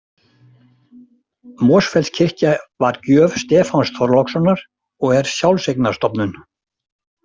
Mosfellskirkja var gjöf Stefáns Þorlákssonar og er sjálfseignarstofnun.